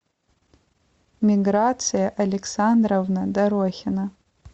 миграция александровна дорохина